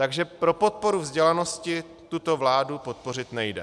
Takže pro podporu vzdělanosti tuto vládu podpořit nejde.